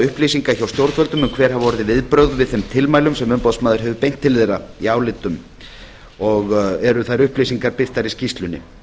upplýsinga hjá stjórnvöldum um hver hafa orðið viðbrögð við þeim tilmælum sem umboðsmaður hefur beint til þeirra í álitum og eru þær upplýsingar birtar i skýrslunni